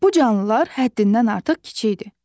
Bu canlılar həddindən artıq kiçikdir.